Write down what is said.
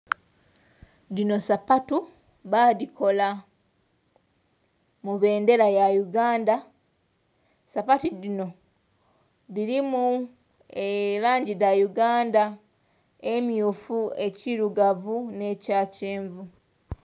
Dhinho sapatu badhikola mu bendhera ya Uganda. Sapatu dhino dhirimu elangi dha Uganda emyufu, ekyirugavu ne kya kyenvu.